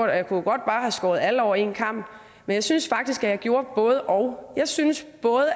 jeg kunne bare have skåret alle over en kam men jeg synes faktisk at jeg gjorde både og jeg synes